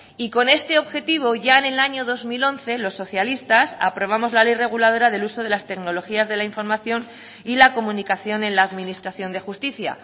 y con este objetivo ya en el año dos mil once los socialistas aprobamos la ley reguladora del uso de las tecnologías de la información y la comunicación en la administración de justicia